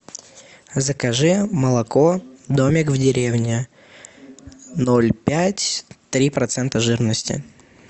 закажи молоко домик в деревне ноль пять три процента жирности